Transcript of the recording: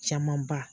Camanba